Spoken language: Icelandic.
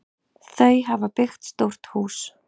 Þau hafa byggt stórt hús.